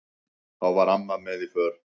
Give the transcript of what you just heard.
Þá var amma með í för.